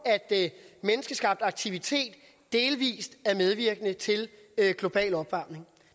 at menneskeskabt aktivitet delvis er medvirkende til global opvarmning